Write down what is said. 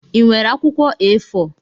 Ị nwere akwụkwọ A4?